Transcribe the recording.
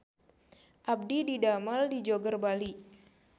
Abdi didamel di Joger Bali